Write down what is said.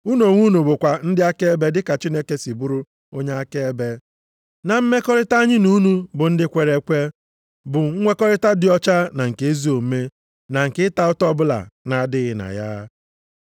Unu onwe unu bụkwa ndị akaebe dị ka Chineke si bụrụ onye akaebe, na mmekọrịta anyị na unu bụ ndị kwere ekwe, bụ nwekọrịta dị ọcha na nke ezi omume, na nke ịta ụta ọbụla na-adịghị na ya.